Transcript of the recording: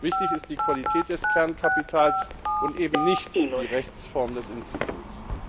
Wichtig ist die Qualität des Kernkapitals und eben nicht die Rechtsform des Instituts.